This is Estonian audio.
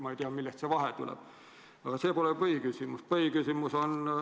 Ma ei tea, millest see vahe tuleb, aga see pole põhiküsimus.